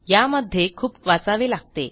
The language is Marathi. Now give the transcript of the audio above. यामध्ये खूप वाचावे लागते